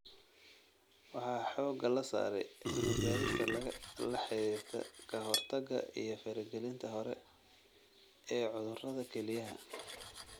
Waxaa xoogga la saaray cilmi-baarista la xiriirta ka-hortagga iyo faragelinta hore ee cudurrada kelyaha.